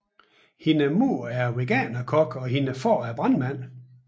Hendes mor er Veganerkok og hendes far er brandmand